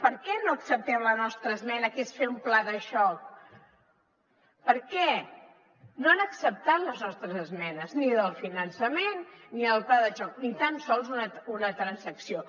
per què no accepten la nostra esmena que és fer un pla de xoc per què no han acceptat les nostres esmenes ni la del finançament ni el pla de xoc ni tan sols una transacció